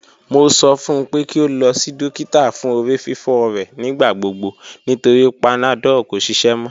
Mo sọ fun pe ki o lọ si dokita fun orififo rẹ nigbagbogbo nitori panadol ko ṣiṣẹ mọ